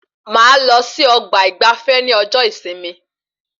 Máa lọ sí ọgbà ìgbafé ní ọjọ ìsinmi